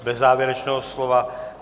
Bez závěrečného slova.